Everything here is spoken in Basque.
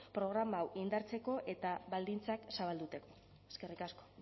programa hau indartzeko eta baldintzak zabalduteko eskerrik asko